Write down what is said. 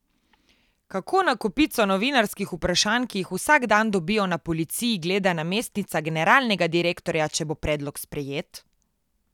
Kako na kopico novinarskih vprašanj, ki jih vsak dan dobijo na policiji, gleda namestnica generalnega direktorja, če bo predlog sprejet?